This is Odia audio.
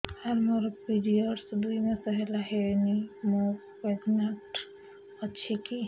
ସାର ମୋର ପିରୀଅଡ଼ସ ଦୁଇ ମାସ ହେଲା ହେଇନି ମୁ ପ୍ରେଗନାଂଟ ଅଛି କି